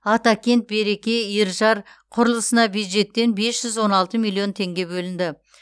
атакент береке иіржар құрылысына бюджеттен бес жүз он алты миллион теңге бөлінді